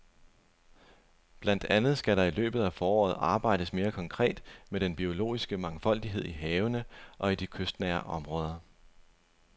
Blandt andet skal der i løbet af foråret arbejdes mere konkret med den biologiske mangfoldighed i havene og i de kystnære områder.